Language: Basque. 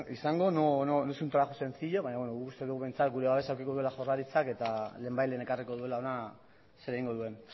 izango no es un trabajo sencillo guk uste dugu behintzat gure babesa edukiko duela jaurlaritzak eta lehenbailehen ekarriko duela hona zer egingo duen